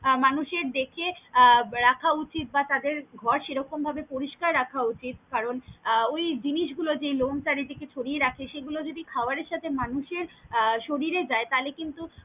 মানুষের দেখে আহ রাখা উচিত বা তাদের ঘর সেরকম ভাবে পরিস্কার রাখা উচিত কারন আহ ওই জিনিস গুলো যেই লম চারি দিকে ছরিয়ে রাখে সেগুল যদি খাবারের সাথে মানুষ এর শরীরে যায় তালে কিন্তু।